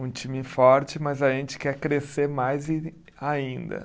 Um time forte, mas a gente quer crescer mais e ainda.